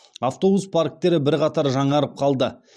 автобус парктері бірқатар жаңарып қалды